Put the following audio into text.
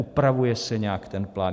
Upravuje se nějak ten plán?